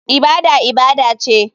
Ibada ibada ce.